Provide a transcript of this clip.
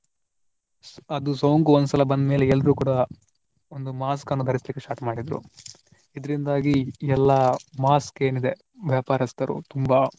ಅದು ಸೋಂಕು ಒಂದ್ಸಲ ಬಂದ ಮೇಲೆ ಎಲ್ರೂ ಕೂಡಾ ಒಂದು mask ಅನ್ನು ಧರಿಸ್ಲಿಕ್ಕೆ start ಮಾಡಿದ್ರು ಇದರಿಂದಾಗಿ ಎಲ್ಲಾ mask ಏನಿದೆ ವ್ಯಾಪಾರಸ್ಥರು ತುಂಬಾ